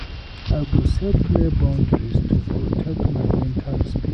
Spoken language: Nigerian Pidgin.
I go set clear boundaries to protect my mental space.